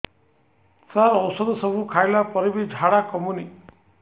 ସାର ଔଷଧ ସବୁ ଖାଇଲା ପରେ ବି ଝାଡା କମୁନି